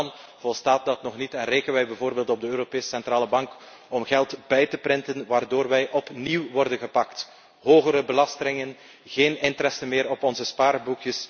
Zelfs dan volstaat dat nog niet en rekenen wij bijvoorbeeld op de Europese Centrale Bank om geld bij te drukken, waardoor wij opnieuw worden gepakt hogere belastingen, geen rente meer op ons spaargeld.